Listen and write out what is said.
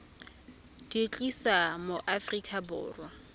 di tlisa mo aforika borwa